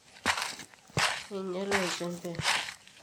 enyiale olchembe